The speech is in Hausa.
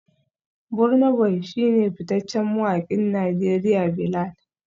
Burna boy shi ne fitaccen mawakin Najeriya Bilal